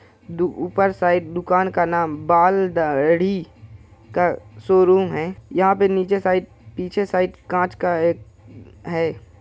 दु ऊपर साइड दुकान का नाम बाल दा-दाढ़ी का शोरूम है| यहाँ पर नीचे साइड पीछे साइड कांच का एक है ।